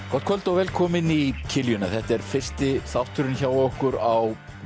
kvöld og velkomin í þetta er fyrsti þátturinn hjá okkur á